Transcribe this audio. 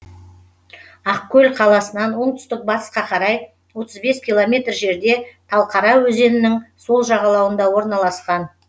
ақкөл қаласынан оңтүстік батысқа қарай отыз бес километр жерде талқара өзенінің сол жағалауында орналасқан